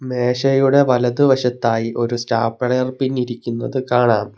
മേശയുടെ വലതുവശത്തായി ഒരു സ്റ്റാപ്ലേയർ പിൻ ഇരിക്കുന്നത് കാണാം.